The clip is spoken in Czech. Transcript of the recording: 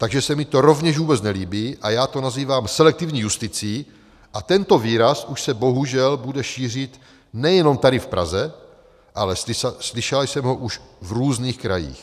Takže se mi to rovněž vůbec nelíbí a já to nazývám selektivní justicí a tento výraz už se bohužel bude šířit nejenom tady v Praze, ale slyšela jsem ho už v různých krajích.